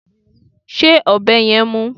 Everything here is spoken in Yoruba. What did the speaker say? Ṣé ọ̀bẹ yẹn mú?